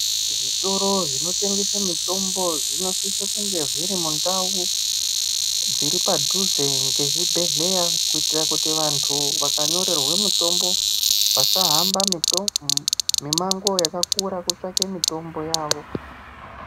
Zvitoro zvinotengese mitombo zvino sise kunge zviri mundau dziri padhuze nge zvibhedheya kuitira kuti vantu vaka nyorerwe mutombo vasa hamba mi mango yakakura kutsvake mitombo yavo.